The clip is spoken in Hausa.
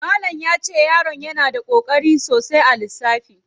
Malamin yace yaron yana da koƙari sosai a lissafi.